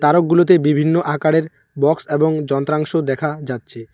সবগুলোতে বিভিন্ন আকারের বক্স এবং যন্ত্রাংশ দেখা যাচ্ছে।